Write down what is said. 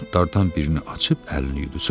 Krantlardan birini açıb əlini yudu.